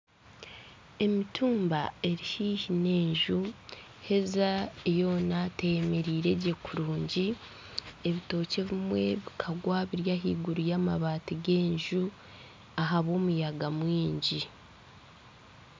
Emitumba eri haihi n'enju haaza yoona teyemereire gye kurungi ebitookye ebimwe bikagwa biri ahaiguru y'amabaati g'enju ahabw'omuyaga mwingi